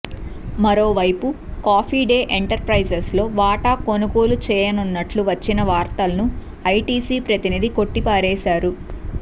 మరోవైపు Coffee Day ఎంటర్ప్రైజెస్లో వాటా కొనుగోలు చేయనున్నట్లు వచ్చిన వార్తలను ఐటీసీ ప్రతినిధి కొట్టిపారేశారు